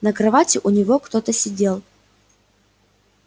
на кровати у него кто-то сидел